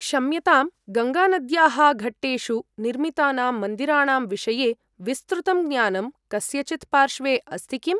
क्षम्यतां गङ्गानद्याः घट्टेषु निर्मितानां मन्दिराणां विषये विस्तृतं ज्ञानं कस्यचित् पार्श्वे अस्ति किम्?